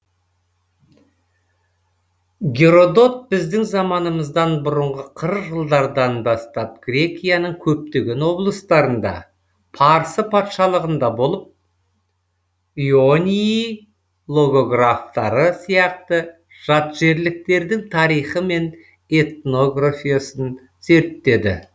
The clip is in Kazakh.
геродот біздің заманымыздан бұрынғы қырық жылдардан бастап грекияның көптеген облыстарында парсы патшалығында болып ионий логографтары сияқты жатжерліктердің тарихы мен этногрофиясын зерттеді